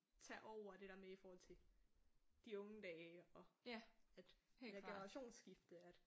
Tage over det der med i forhold til de unge dage og at det der generationsskifte at